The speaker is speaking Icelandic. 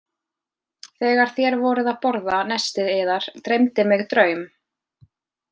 Þegar þér voruð að borða nestið yðar dreymdi mig draum.